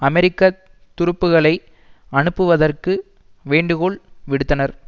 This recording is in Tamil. அமெரிக்க துருப்புக்களை அனுப்புவதற்கு வேண்டுகோள் விடுத்தனர்